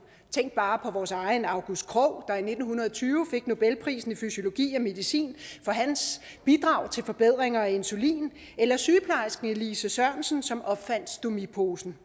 tænk bare på vores egen august krogh der i nitten tyve fik nobelprisen i fysiologi og medicin for hans bidrag til forbedring af insulin eller sygeplejersken elise sørensen som opfandt stomiposen